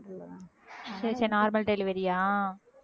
சரி சரி normal delivery யா